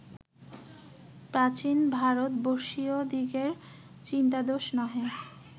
প্রাচীন ভারতবর্ষীয়দিগের চিন্তাদোষ নহে